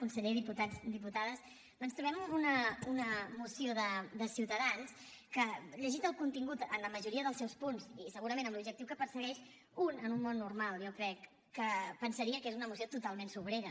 conseller diputats diputades ens trobem una moció de ciutadans que llegit el contingut en la majoria dels seus punts i segurament amb l’objectiu que persegueix un en un món normal jo crec que pensaria que és una moció totalment sobrera